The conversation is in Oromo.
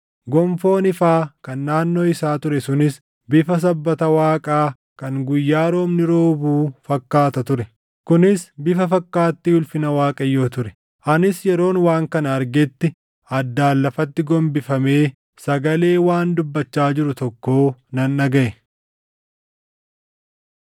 Gonfoon ifaa kan naannoo isaa ture sunis bifa sabbata Waaqaa kan guyyaa roobni roobuu fakkaata ture. Kunis bifa fakkaattii ulfina Waaqayyoo ture. Anis yeroon waan kana argetti addaan lafatti gombifamee sagalee waan dubbachaa jiru tokkoo nan dhagaʼe.